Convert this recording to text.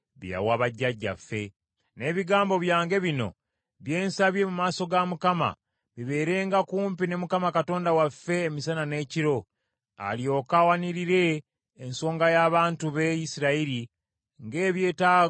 N’ebigambo byange bino bye nsabye mu maaso ga Mukama , bibeerenga kumpi ne Mukama Katonda waffe emisana n’ekiro, alyoke awanirire ensonga y’abantu be Isirayiri, ng’ebyetaago ebya buli lunaku,